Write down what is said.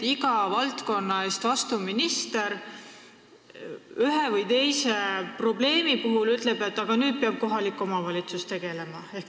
Iga mingi valdkonna eest vastutav minister ütleb ühe või teise probleemi puhul, et nüüd peab sellega kohalik omavalitsus tegelema.